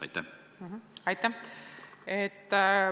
Aitäh!